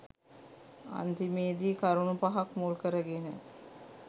අන්තිමේදී කරුණු පහක් මුල් කරගෙන